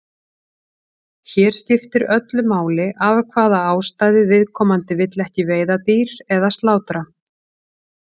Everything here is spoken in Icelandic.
Hér skiptir öllu máli af hvaða ástæðu viðkomandi vill ekki veiða dýr eða slátra.